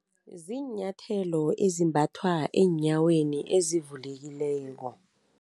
Ziinyathelo ezimbathwa eenyaweni ezivulekileko.